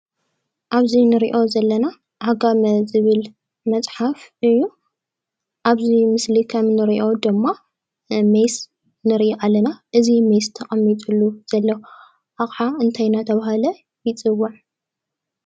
ኣብ እዚ እንሪኦ ዘለና ዓጋመ ዝብል መፅሓፍ እዩ፡፡ አብዚ ምስሊ ከም እንሪኦ ድማ ሜስ ንሪኢ ኣለና፡፡ እዚ ሜስ ተቀሚጥሉ ዘሎ ኣቅሓ እንታይ እንዳተባሃለ ይፅዋዕ?